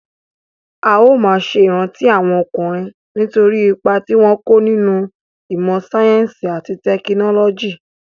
A ó máa ṣe ìrántí àwọn ọkùnrin nítorí ipa tí wọ́n kó nínú ìmọ sáyẹ́nsì àti tẹkinọ́lọ́jì.